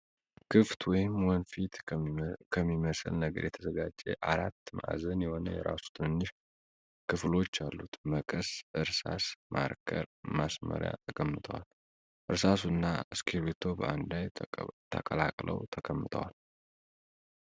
ክፍት ወይም ወንፊት ከሚመስል ነገር የተዘጋጀ አራት ማዕዘን የሆነ የራሱ ትንንሽ ክፍሎች አሉት። መቀስ፣ እርሳስ፣ ማርከር ፣ ማስመሪያ ተቀምጠዋል። እርሳሱ እና እስክርቢቶ በአንድ ላይ ተቀላቅለዉ ተቀምጠዋል።